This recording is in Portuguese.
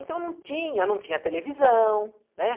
Então não tinha, não tinha televisão, né?